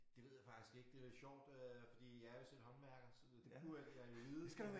Det ved jeg faktisk ikke det lidt sjovt øh fordi jeg er jo selv håndværker så det burde jeg jo vide